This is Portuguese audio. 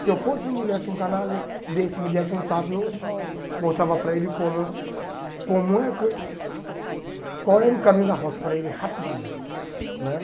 Se eu fosse uma mulher, se um canalha desse, me desse um tapa, eu mostrava para ele como como é... Qual era o caminho da roça para ele, rapidinho né.